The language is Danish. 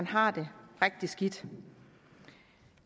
har det rigtig skidt